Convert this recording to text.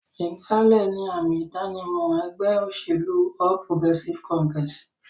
Ìgbálẹ̀ ni àmì-ìdánimọ̀ ẹgbẹ́ ìṣèlú All Progressive Congress.